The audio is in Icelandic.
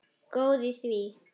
Góð í því!